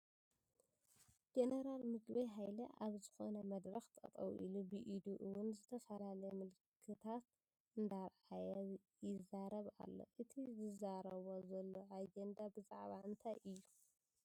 ጀነራል ምግበይ ሃይለ ኣብ ዝኾነ መድረኽ ጠጠው ኢሉ ብኢዱ እውን ዝተፈላለየ ምልክታት እንዳርኣየ ይዘረብ ኣሎ፡፡ እቲ ዝዛረቦ ዘሎ ኣጀንዳ ብዛዕባ እንታይ እዩ?